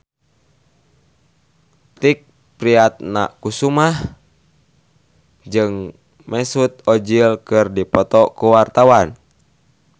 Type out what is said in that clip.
Tike Priatnakusuma jeung Mesut Ozil keur dipoto ku wartawan